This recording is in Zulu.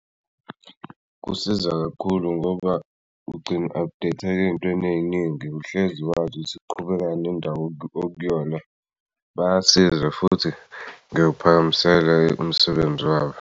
Kusiza kakhulu ngoba ugcina u-update-ka ey'ntweni ey'ningi uhlezi wazi ukuthi kuqhubekani endawo okuyona bayasiza futhi ngikuphakamisele umsebenzi wabo.